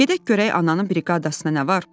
Gedək görək ananın briqadasına nə var.